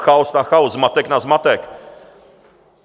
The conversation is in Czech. Chaos na chaos, zmatek nad zmatek!